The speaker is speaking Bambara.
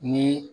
Ni